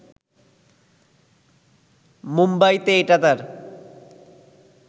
মুম্বাইতে এটা তাঁর